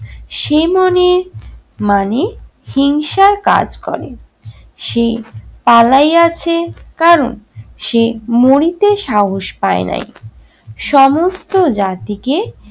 সেইমনে মানে হিংসার কাজ করে। সেই পালাইয়াছে কারণ সে মরিতে সাহস পায়নাই। সমস্ত জাতিকে